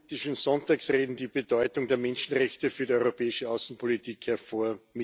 Frau Präsidentin! Sonntagsreden die Bedeutung der Menschenrechte für die europäische Außenpolitik hervor.